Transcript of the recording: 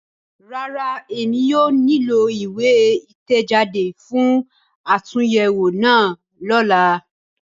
Rárá, Emi kii yóò nilo iwe itẹjade fun atunyẹwo náa lọla